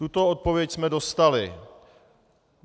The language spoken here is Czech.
Tuto odpověď jsme dostali.